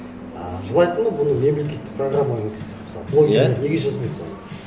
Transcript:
а желательно бұны мемлекеттік программаға енгізсе мысалы блогерлер неге жазбайды соны